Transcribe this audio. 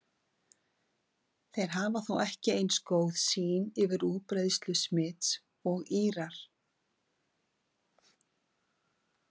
Þeir hafa þó ekki eins góða sýn yfir útbreiðslu smits og Írar.